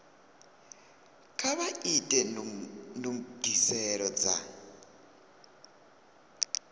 kha vha ite ndugiselo dza